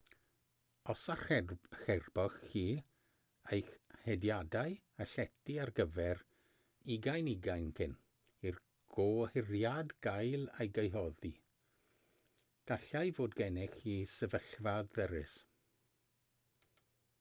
os archeboch chi eich hediadau a llety ar gyfer 2020 cyn i'r gohiriad gael ei gyhoeddi gallai fod gennych chi sefyllfa ddyrys